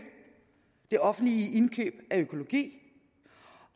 det offentlige indkøb af økologi